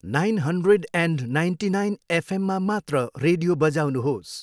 Nine hundred and ninety nine F एममा मात्र radio बजाउनुहोस्।